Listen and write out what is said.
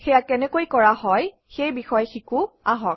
সেয়া কেনেকৈ কৰা হয় সেই বিষয়ে শিকোঁ আহক